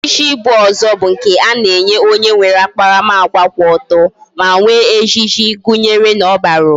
Echichi ibu ozo bu nke ana echi onye nwere akparamagwa kwu oto, ma nwe ejiji, gunyere na o bara uba